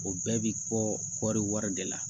O bɛɛ bi bɔ kɔri wari de la